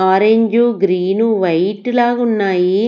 Orange green white లాగా ఉన్నాయి.